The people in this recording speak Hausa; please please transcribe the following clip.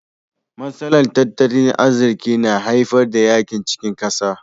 Matsalar tattalin arziki na haifar da yakin cikin kasa.